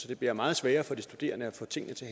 det bliver meget sværere for de studerende at få tingene til